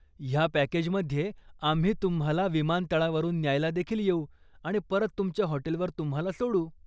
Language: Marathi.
ह्या पॅकेजमध्ये आम्ही तुम्हाला विमानतळावरून न्यायला देखील येऊ आणि परत तुमच्या हॉटेलवर तुम्हाला सोडू.